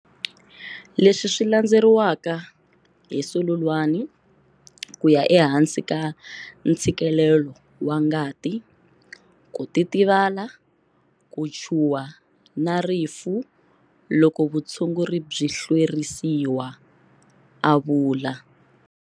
Leswi swi landzeriwaka hi sululwani, ku ya ehansi ka ntshikelelo wa ngati, ku titivala, ku chuwha na rifu loko vutshunguri byi hlwerisiwa, a vula.